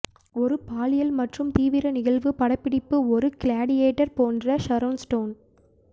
ஒரு பாலியல் மற்றும் தீவிர நிகழ்வு படப்பிடிப்பு ஒரு கிளாடியேட்டர் போன்ற ஷரோன் ஸ்டோன்